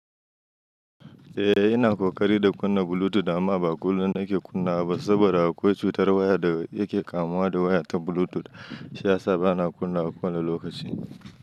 Eh, ina ƙoƙari da kunna Bluetooth amma ba kullum nake kunnawa ba saboda akwai cutar waya da yake kamuwa da waya ta Bluetooth. Shiyasa bana kunnawa kowane lokaci.